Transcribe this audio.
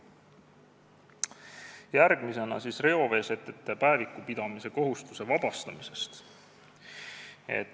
Järgmisena reoveesetete päeviku pidamise kohustuse vabastamisest.